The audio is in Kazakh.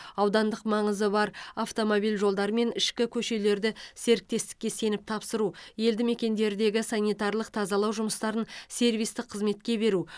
аудандық маңызы бар автомобиль жолдары мен ішкі көшелерді серіктестікке сеніп тапсыру елді мекендердегі санитарлық тазалау жұмыстарын сервистік қызметке беру